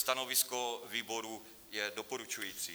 Stanovisko výboru je doporučující.